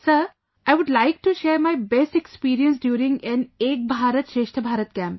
Sir, I would like to share my best experience during an 'Ek Bharat Shreshth Bharat' Camp